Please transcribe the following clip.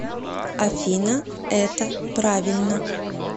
афина это правильно